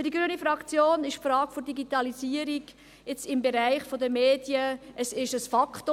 Für die grüne Fraktion ist die Frage der Digitalisierung, jetzt im Bereich der Medien, ein Faktum.